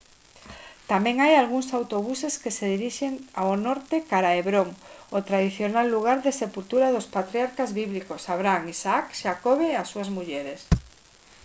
tamén hai algúns autobuses que se dirixen ao norte cara a hebron o tradicional lugar de sepultura dos patriarcas bíblicos abraham isaac xacobe e as súas mulleres